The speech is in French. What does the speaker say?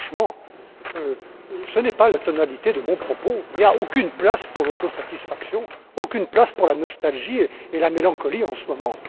Franchement, ce n'est pas la tonalité de mon propos, il n'y a aucune place pour l'autosatisfaction, aucune place pour la nostalgie et la mélancolie en ce moment.